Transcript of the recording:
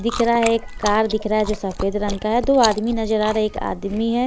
दिख रहा है कार दिख रहा है जो सफेद रंग का है दो आदमी नजर आ रहे एक आदमी है।